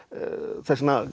þess vegna